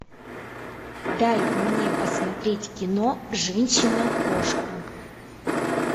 дай мне посмотреть кино женщина кошка